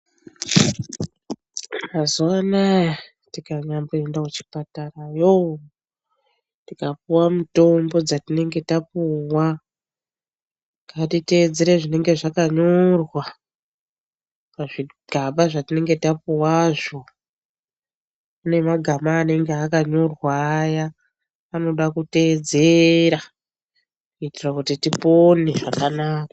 Mazuvanaa tinganyamboenda kuchipatarayo tikapuwa mitombo dzatinenge tapuwa ngatitedzere zvinenge zvakanyora pazvigaba zvatinenge tapuwazvo. Pane magama anenge akanyorwa aya anoda kuteedzera kuitira kuti tipone zvakanaka.